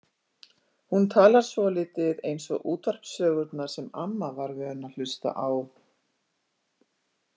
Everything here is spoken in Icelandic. Hún talar svolítið eins og útvarpssögurnar sem amma var vön að hlusta á.